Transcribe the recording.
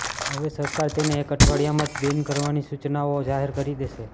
હવે સરકાર તેને એક અઠવાડિયામાં જ બેન કરવાની સૂચનાઓ જાહેર કરી દેશે